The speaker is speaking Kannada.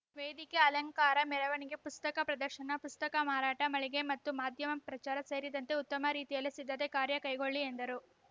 ವೇದಿಕೆ ಅಲಂಕಾರ ಮೆರವಣಿಗೆ ಪುಸ್ತಕ ಪ್ರದರ್ಶನ ಪುಸ್ತಕ ಮಾರಾಟ ಮಳಿಗೆ ಮತ್ತು ಮಾಧ್ಯಮ ಪ್ರಚಾರ ಸೇರಿದಂತೆ ಉತ್ತಮ ರೀತಿಯಲ್ಲಿ ಸಿದ್ಧತೆ ಕಾರ್ಯ ಕೈಗೊಳ್ಳಿ ಎಂದರು